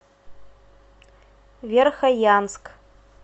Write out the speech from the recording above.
верхоянск